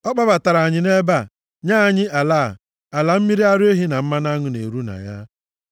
Ọ kpọbatara anyị nʼebe a, nye anyị ala a, ala mmiri ara ehi na mmanụ aṅụ na-eru na ya.